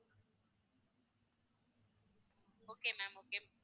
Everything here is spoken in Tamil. okay ma'am okay